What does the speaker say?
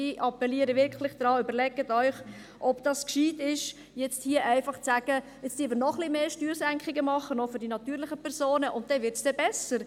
Ich appelliere wirklich an Sie, überlegen Sie sich, ob es gescheit ist, hier einfach zu sagen, wir machen nun noch ein wenig mehr Steuersenkungen – auch noch für die natürlichen Personen – und dann wird es besser.